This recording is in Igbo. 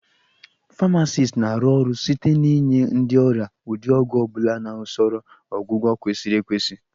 Famacist na-arụ ọrụ site n'inye ndị ọrịa ụdị ọgwụ ọ bụla na usoro ọgwụgwọ kwesịrị ekwesị